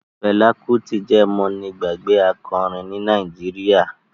Fela Kuti je mọ́nigbàgbé akọrin ní Nàìjíríà.